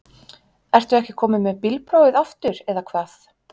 Ertu ekki kominn með bílprófið aftur eða hvað?